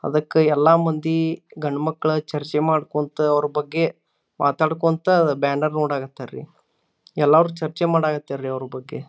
ಅದಕ್ಕೆ ಎಲ್ಲ ಮಂದಿ ಗಂಡುಮಕ್ಳ ಚರ್ಚೆ ಮಾಡುಕೊಂತು ಅವರ ಬಗ್ಗೆ ಮಾತೋಡ್ಕನ್ತ ಬ್ಯಾನರ್ ನೋಡಕತರ ರೀ ಎಲ್ಲರೂ ಚರ್ಚೆ ಮಾಡಕಾತರ ಅವ್ರ ಬಗ್ಗೆ.